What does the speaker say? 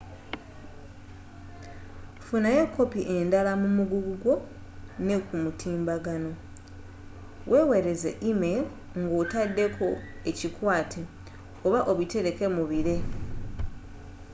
funayo kopi endala mu muguggu gwo ne kumutimbagano wewereze e-mail nga otadeko ekikwate oba obitereke mubire”